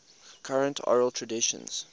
current oral traditions